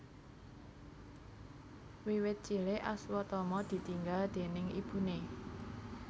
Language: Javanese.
Wiwit cilik Aswatama ditinggal déning ibune